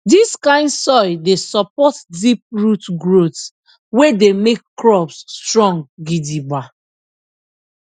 dis kind soil dey support deep root growth wey dey make crops strong gidigba